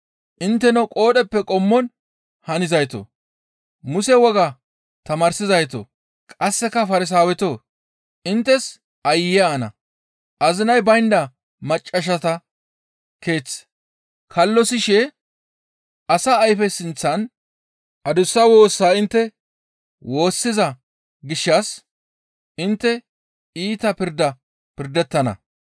Intteno qoodheppe qommon hanizaytoo! Muse wogaa tamaarsizaytoo, qasseka Farsaawetoo! Inttes aayye ana! Azinay baynda maccassata keeth kallosishe asa ayfe sinththan adussa woosa intte woossiza gishshas intte iita pirda pirdettana.